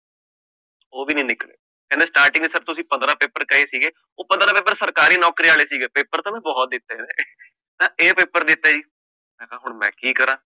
ਊ ਵੀ ਨੀ ਨਿਕਲੇ, ਕਹਿੰਦੇ starting ਚ ਤਾ ਤੁਸੀਂ ਪੰਦਰਾਂ paper ਕਹੇ ਸੀਗੇ, ਓ ਪੰਦਰਾਂ paper ਸਰਕਾਰੀ ਨੌਕਰੀ ਆਲੇ ਸੀਗੇ, paper ਤਾ ਮੈਂ ਬਹੋਤ ਦਿੱਤੇ ਨੇ, ਏ paper ਦਿੱਤੇ ਜੀ, ਹੁਣ ਮੈਂ ਕਿ ਕਰਾ